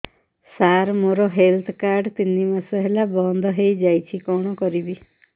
ସାର ମୋର health card ତିନି ମାସ ହେଲା ବନ୍ଦ ହେଇଯାଇଛି କଣ କରିବି